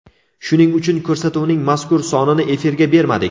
Shuning uchun ko‘rsatuvning mazkur sonini efirga bermadik.